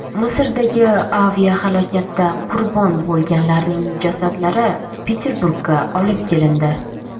Misrdagi aviahalokatda qurbon bo‘lganlarning jasadlari Peterburgga olib kelindi.